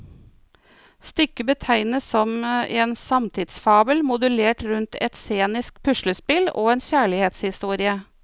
Stykket betegnes som en samtidsfabel, modellert rundt et scenisk puslespill og en kjærlighetshistorie.